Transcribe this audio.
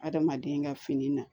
Adamaden ka fini na